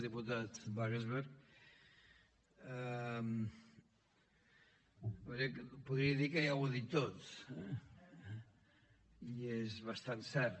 diputat wagensberg podria dir que ja ho ha dit tot i és bastant cert